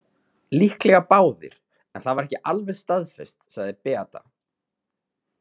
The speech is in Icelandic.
Líklega báðir en það var ekki alveg staðfest, sagði Beata.